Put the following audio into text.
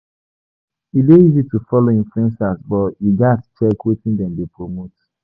E dey easy to follow influencers, but you gatz check wetin dem dey promote.